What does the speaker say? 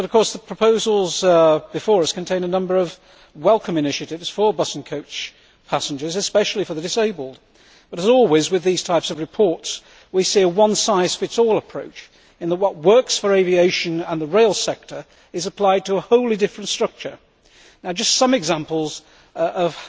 The proposals before us contain a number of welcome initiatives for bus and coach passengers, especially for the disabled. But, as always with this type of report, we see a one size fits all' approach, in that what works for aviation and the rail sector is applied to a wholly different structure. Some examples of